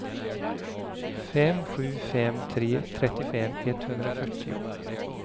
fem sju fem tre trettiofem etthundrafyrtio